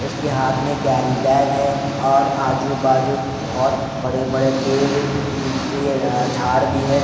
उसके हाथ में कैरी बैग है और आजू-बाजू बहुत बड़े-बड़े टेबल अ अ झाड़ भी हैं।